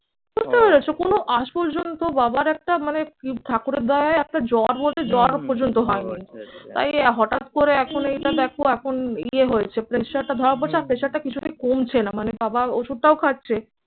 বুঝতে পেরেছ? কোন আজ পর্যন্ত বাবার একটা মানে ঠাকুরের দয়ায় একটা জ্বর বলতে জ্বরও পর্যন্ত হয়নি। তাই হঠাৎ করে এখন এইটা দেখো এখন ইয়ে হয়েছে pressure টা ধরা পড়ছে। আর pressure টা কিছুতেই কমছে না। মানে বাবার ওষুধটাও খাচ্ছে।